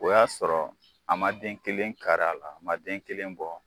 O y'a sɔrɔ a ma den kelen kar'a la, a ma den kelen bɔ.